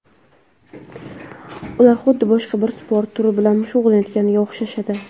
Ular xuddi boshqa bir sport turi bilan shug‘ullanayotganga o‘xshashadi.